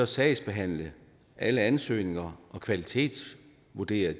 sagsbehandle alle ansøgninger og kvalitetsvurdere